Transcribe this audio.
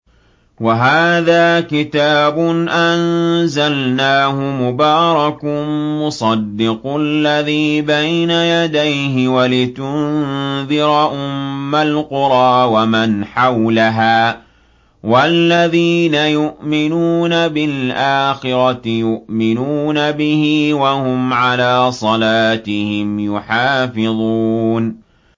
وَهَٰذَا كِتَابٌ أَنزَلْنَاهُ مُبَارَكٌ مُّصَدِّقُ الَّذِي بَيْنَ يَدَيْهِ وَلِتُنذِرَ أُمَّ الْقُرَىٰ وَمَنْ حَوْلَهَا ۚ وَالَّذِينَ يُؤْمِنُونَ بِالْآخِرَةِ يُؤْمِنُونَ بِهِ ۖ وَهُمْ عَلَىٰ صَلَاتِهِمْ يُحَافِظُونَ